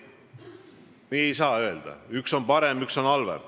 Nii ei saa öelda, et üks on parem ja teine halvem.